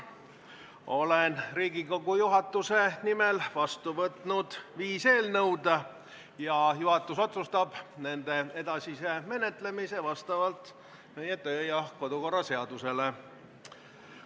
Olen Riigikogu juhatuse nimel võtnud vastu viis eelnõu ja juhatus otsustab nende edasise menetlemise vastavalt meie kodu- ja töökorra seadusele.